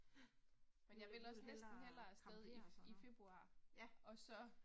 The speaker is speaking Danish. Ja. Du vil du vil hellere campere og sådan noget. Ja